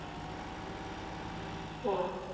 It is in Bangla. ওঃ